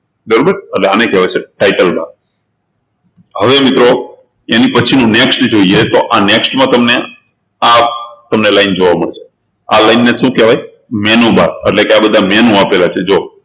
બરોબર એટલે આને કહેવાય છે title bar હવે મિત્રો એની પછીનું next જોઈએ તો આ next માં તમને આ line તમને જોવા મળશે આ line ને શું કહેવાય menu bar એટલે આ બધા menu આપેલા છે જુઓ